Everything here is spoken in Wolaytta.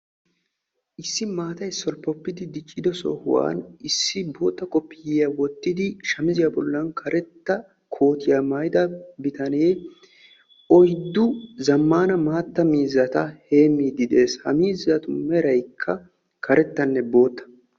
Issi maattay keehi dicciddo sohwuan koottiya maayidda bitanne oyddu miizzata heemidde de'ees. Etta meraykka karettanne bootta.